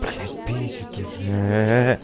блять бесит уже